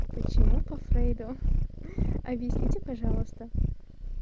почему по фрейду хи-хи объясните пожалуйста